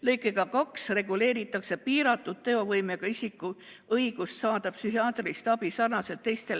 Lõikega 2 reguleeritakse piiratud teovõimega isiku õigust saada psühhiaatrilist abi sarnaselt teiste